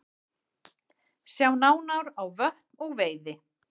Sjá nánar á Vötn og veiði